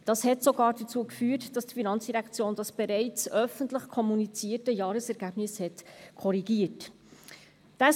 Das hat sogar dazu geführt, dass die FIN das bereits öffentlich kommunizierte Jahresergebnis korrigiert hat.